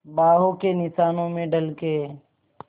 बाहों के निशानों में ढल के